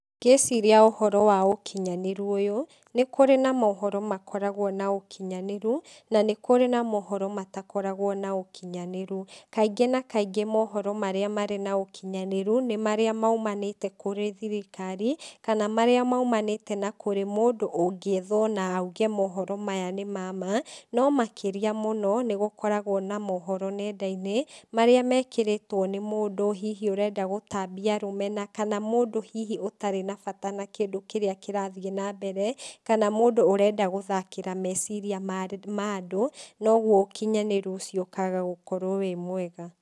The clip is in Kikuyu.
Ngĩciria ũhoro wa ũkinyanĩrũ ũyũ, nĩ kũrĩ na mohoro makoragwo na ũkinyanĩrũ na nĩ kũrĩ na mohoro matakoragwo na ũkinyanĩrũ, kaingĩ na kaingĩ mohoro marĩa marĩ na ũkinyanĩrũ, nĩ marĩa maimanĩte kũrĩ thirikari, kana marĩa maimanĩte na kũrĩ mũndũ ũngĩthwo na aige mohoro maya nĩ mama, no makĩria mũno, nĩ gũkoragwo na mohoro nenda-inĩ, marĩa mekĩrĩtwo nĩ mũndũ hihi arenda gũtabia rũmena, kana mũndũ hihi ũtarĩ na bata na kĩndũ kĩrĩa kĩrathiĩ na mbere, kana mũndũ ũrenda guthakĩra meciria marĩ mandũ, noguo ũkinyanĩrũ ũcio ũkaga gũkorwo wĩ mwega.